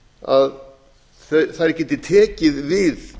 að þær geti tekið við